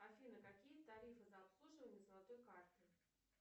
афина какие тарифы за обслуживание золотой карты